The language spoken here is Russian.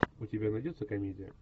у тебя найдется комедия